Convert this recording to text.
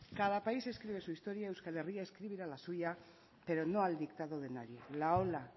cada país escribe su historia euskal herria escribirá la suya pero no al dictado de nadie la ola